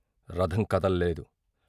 రథం కదలలేదు.